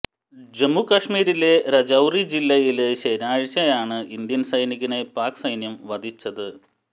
ജമ്മുകാശ്മീരിലെ രജൌറി ജില്ലയില് ശനിയാഴ്ചയാണ് ഇന്ത്യന് സൈനികനെ പാക് സൈന്യം വധിച്ചത്